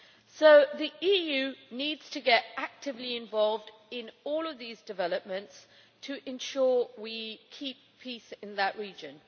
So the EU needs to get actively involved in all of these developments to ensure we keep peace in the region.